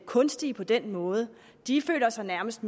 kunstige på den måde de føler sig nærmest